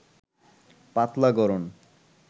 পাতলা গড়ন